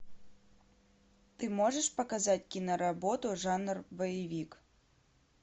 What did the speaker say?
ты можешь показать киноработу жанр боевик